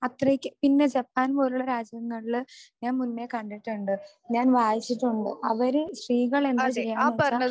അത്രയ്ക്ക് പിന്നെ ജപ്പാൻ പോലുള്ള രാജ്യങ്ങളില് ഞാൻ മുന്നേ കണ്ടിട്ടുണ്ട് ഞാൻ വായിച്ചിട്ടുണ്ട് അവര് സ്ത്രീകളെന്താ ചെയ്യാന്ന് വെച്ചാ